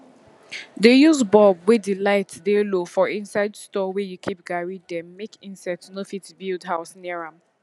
dey use bulb wey de light dey low for inside store wey you keep garri dem make insect no fit build house near am